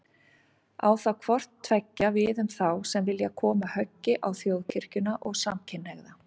Á það hvort tveggja við um þá sem vilja koma höggi á Þjóðkirkjuna og samkynhneigða.